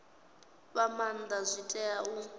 fha maanda zwi tea u